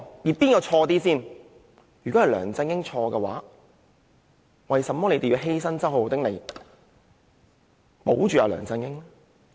如果錯的是梁振英，為甚麼還要犧牲周浩鼎議員來保住梁振英？